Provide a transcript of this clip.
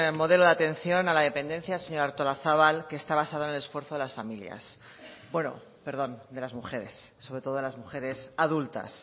modelo de atención a la dependencia señora artolazabal que está basado en el esfuerzo de las familias bueno perdón de las mujeres sobre todo de las mujeres adultas